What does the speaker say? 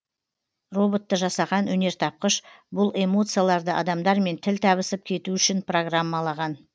роботты жасаған өнертапқыш бұл эмоцияларды адамдармен тіл табысып кету үшін программалаған